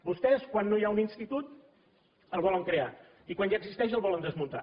vostès quan no hi ha un institut el volen crear i quan ja existeix el volen desmuntar